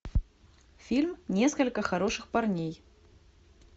фильм несколько хороших парней